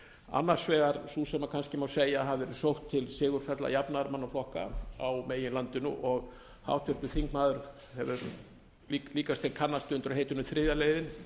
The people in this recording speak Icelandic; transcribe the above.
annars vegar sú sem kannski má segja að hafi verið sótt til sigursælla jafnaðarmannaflokka á meginlandinu og háttvirtur þingmaður líkast til kannast við undir heitinu þriðja leiðin